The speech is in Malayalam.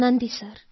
നന്ദി സർ